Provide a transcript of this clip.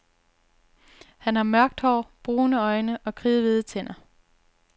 Han har mørkt hår, brune øjne og kridhvide tænder.